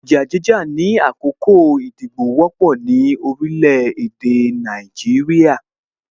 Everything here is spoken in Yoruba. Ìjà jíjà ni àkókò ìdìbò wọ́pọ̀ ni orílẹ̀ èdè Nàìjíríà